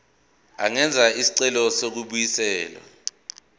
angenza isicelo sokubuyiselwa